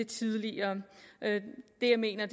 tidligere det jeg mener